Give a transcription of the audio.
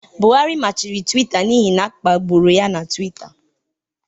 Buhari machiri Twita n'ihi na a kpagburu ya na Twitter